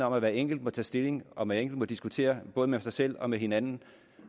om at hver enkelt må tage stilling og at man må diskutere både med sig selv og med hinanden